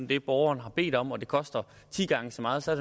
det borgeren har bedt om og det koster ti gange så meget så